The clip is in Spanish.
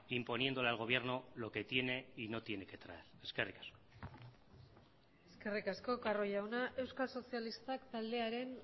imponiéndole al gobierno lo que tiene y no tiene que traer eskerrik asko eskerrik asko carro jauna euskal sozialistak taldearen